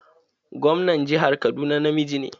Gwamnan jihar Kaduna namiji ne